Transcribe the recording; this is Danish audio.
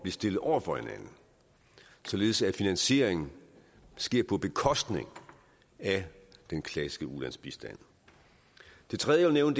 stillet over for hinanden således at finansieringen sker på bekostning af den klassiske ulandsbistand det tredje jeg vil